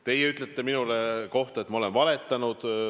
Teie ütlete minu kohta, et ma olen valetanud.